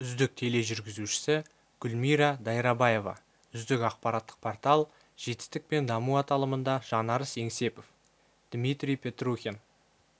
үздік тележүргізушісі гүмира дайрабаева үздік ақпараттық портал жетістік пен даму аталымында жанарыс еңсепов дмитрий петрухин